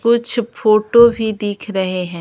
कुछ फोटो भी दिख रहे हैं।